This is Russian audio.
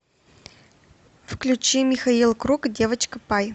включи михаил круг девочка пай